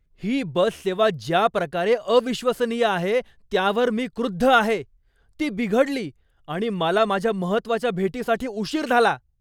ही bus सेवा ज्या प्रकारे अविश्वसनीय आहे त्यावर मी क्रुद्ध आहे. ती बिघडली, आणि मला माझ्या महत्त्वाच्या भेटीसाठी उशीर झाला.